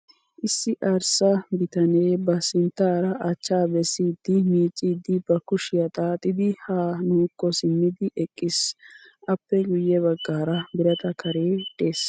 Issi arssa bitane ba sinttira achchaa bessidi miicciiddi ba kushiyaa xaaxidi ha nuukko simmidi eqqis. Appe guyye baggaara birata kare des.